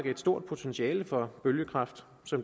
et stort potentiale for bølgekraft